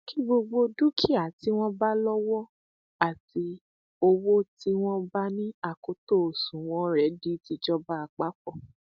kí gbogbo um dúkìá tí wọn bá lówó àti um owó tí wọn bá ní akoto òṣùnwọn rẹ di tìjọba àpapọ